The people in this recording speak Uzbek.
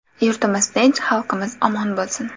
Yurtimiz tinch, xalqimiz omon bo‘lsin!